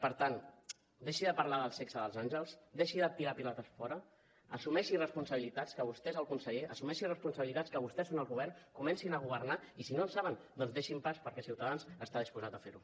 per tant deixi de parlar del sexe dels àngels deixi de tirar pilotes fora assumeixi responsabilitats que vostè és el conseller assumeixi responsabilitats que vostès són el govern comencin a governar i si no en saben doncs deixin pas perquè ciutadans està disposat a fer ho